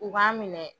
U b'an minɛ